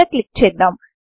ఇక్కడ క్లిక్ చేద్దాం